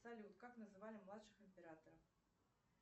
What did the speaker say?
салют как называли младших императоров